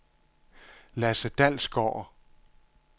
Lasse Dalsgaard